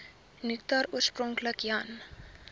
nektar oorspronklik jan